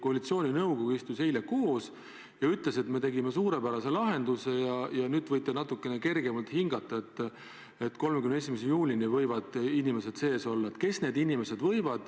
Koalitsiooninõukogu istus eile koos ja ütles, et me tegime suurepärase lahenduse ja nüüd võite natukene kergemalt hingata: 31. juulini võivad need inimesed Eestis olla.